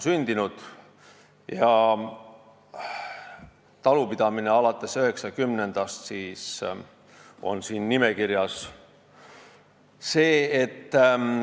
Siin nimekirjas on talupidamine alates 1990. aastast.